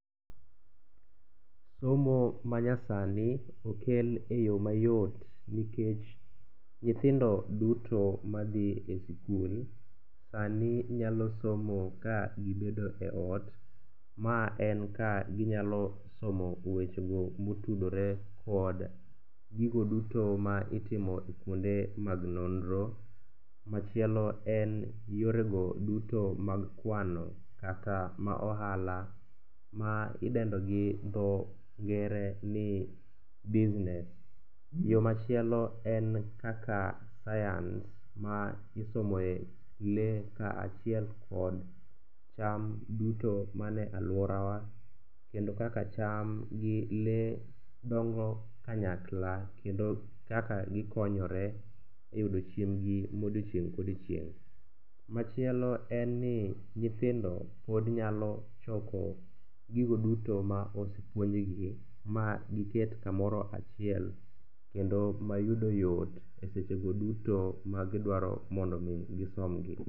Somo manyasani okel e yo mayot nikech nyithindo duto madhi e sikul sani nyalo somo ka gibedo e ot, ma en ka ginyalo somo wechego motudore kod gigo duto ma itimo i kuonde mag nonro, machielo en yorego duto mag kwano kata ma ohala ma idendo gi dho ngere ni business. Yo machielo en kaka science ma isomo e lee kaachiel kod cham duto mane alworawa kendo kaka cham gi lee dongo kanyakla kendo kaka gikonyore e yudo chiembgi modiechieng' kodiechieng'. Machielo en ni nyithindo pod nyalo choko gigo duto ma osepuonjgi ma giket kamoro achiel kendo mayudo yot e sechego duto magidwaro mondo omi gisomgi.